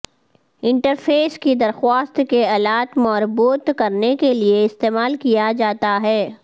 interface کی درخواست کے الات مربوط کرنے کے لئے استعمال کیا جاتا ہے